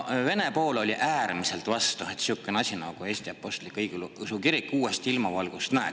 Vene pool oli äärmiselt vastu, et sihukene asi nagu Eesti Apostlik-Õigeusu Kirik uuesti ilmavalgust näeks.